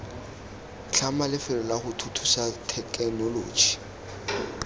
tlhama lefelo lago thuthusa thekenoloji